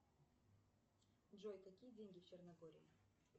джой какие деньги в черногории